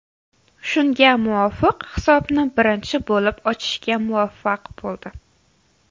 Shunga muvofiq hisobni birinchi bo‘lib ochishga muvaffaq bo‘ldi.